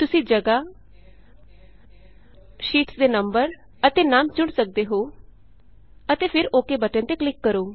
ਤੁਸੀਂ ਜਗ੍ਹਾ ਸ਼ੀਟਸ੍ ਦੇ ਨੰਬਰ ਅਤੇ ਨਾਮ ਚੁਣ ਸਕਦੇ ਹੋ ਅਤੇ ਫਿਰ ਓਕੇ ਓਕ ਬਟਨ ਤੇ ਕਲਿਕ ਕਰੋ